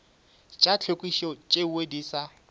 tša tlhwekišo tšeo di sa